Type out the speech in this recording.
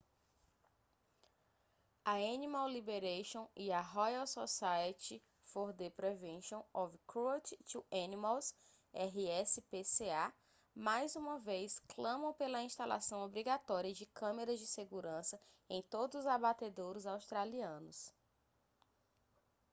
a animal liberation e a royal society for the prevention of cruelty to animals rspca mais uma vez clamam pela instalação obrigatória de câmeras de segurança em todos os abatedouros australianos